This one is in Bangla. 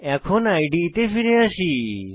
এখন ইদে তে ফিরে আসি